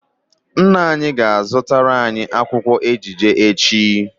Nna anyi ga-azutara anyi akwukwo ejije echi